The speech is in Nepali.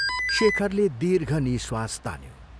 शेखरले दीर्ष निःश्वास तान्यो।